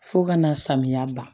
Fo ka na samiya ban